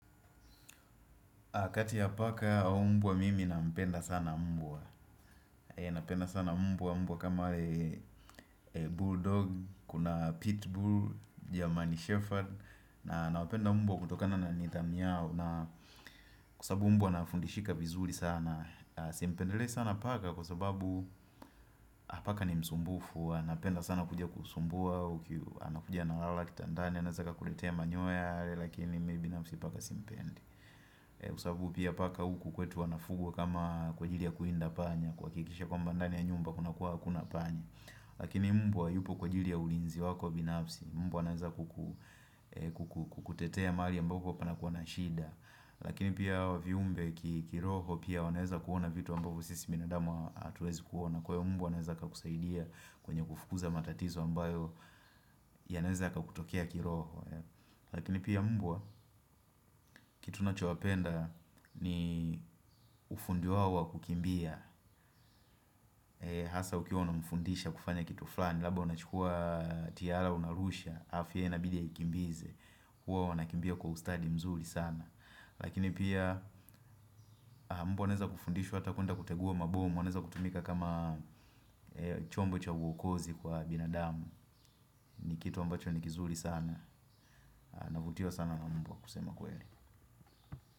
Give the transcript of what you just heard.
A kati ya paka au mbwa mimi nampenda sana mbwa. Nampenda sana mbwa, mbwa kama bulldog, kuna pitbull, german shepherd. Na nawapenda mbwa kutokana na nidhamu yao na kwa sabu mbwa anafundishika vizuri sana. Simpendelei sana paka kwa sababu ha paka ni msumbufu. Huwa napenda sana kuja kukusumbua, ukiu, anakuja analala kitandani, anaeza akakuletea manyoya lakini mimi nami si paka simpendi. Kwa sabu pia paka huku kwetu wanafugwa kama kwa ajili ya kuwinda panya kuhakikisha kwamba ndani ya nyumba kuna kuwa hakuna panya lakini mbwa yupo kwa ajili ya ulinzi wako binafsi Mbwa anaeza kuku ee kuku kukutetea mahali ambapo panakuwa na shida lakini pia hawa viumbe ki kiroho pia wanaeza kuona vitu ambazo sisi binadamu atuezi kuona kwa hio mbwa anaeza akakusaidia kwenye kufukuza matatizo ambayo yanaeza yakakutokea kiroho lakini pia mbwa kitu nachowapenda ni ufundi wao wa kukimbia hasa ukiwa unamfundisha kufanya kitu fulani labda unachukua tiara unarusha afu ye inabidi aikimbize huwa wanakimbia kwa ustadi mzuri sana lakini pia mbwa anaeza kufundishwa ata kuenda kutegua mabom anaweza kutumika kama chombo cha uokozi kwa binadamu ni kitu ambacho ni kizuri sana. Navutiwa sana mbwa kusema kweli.